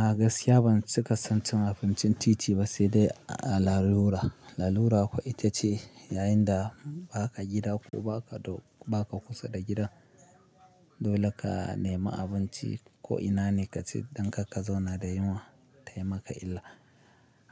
A gaskiya ban cika son cin abincin titi ba, sai dai a lalura. Lalura kuwa ita ce yayin da ba ka gida ko ba ka, ba ka kusa da gida, dole ka nemi abinci ko ina ne ka ci don kar ka zauna da yunwa ta yi maka illa.